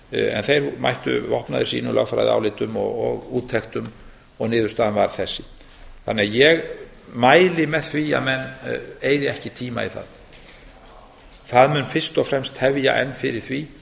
en þeir mættu vopnaðir sínum lögfræðiálitum og úttektum og niðurstaðan varð þessi ég mæli því með því að menn eyði ekki tíma í það það mun fyrst og fremst tefja enn fyrir því